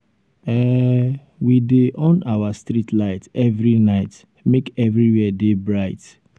um we dey um on our street light every night make everywhere dey bright. um